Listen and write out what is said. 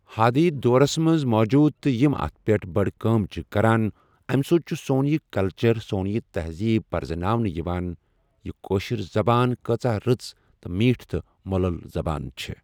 حادیٖد دورَس منٛز موٗجوٗد تہٕ یِم اَتھ پٮ۪ٹھ بَڈٕ کٲم چھِ کَران اَمہِ سۭتۍ چھُ سون یہِ کَلچر سون یہِ تہذیٖب پریٚزناؤنہٕ یِوان کہِ یہِ کٲشِر زبان کۭژاہ رٕژ تہٕ میٖٹھ تہٕ مۄلُل زبان چھےٚ۔